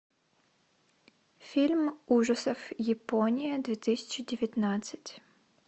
фильм ужасов япония две тысячи девятнадцать